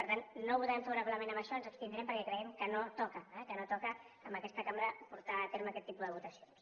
per tant no votarem favorablement en això ens abstindrem perquè creiem que no toca eh que no toca en aquesta cambra portar a terme aquest tipus de votacions